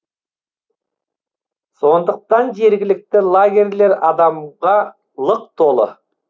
сондықтан жергілікті лагерлер адамға лық толы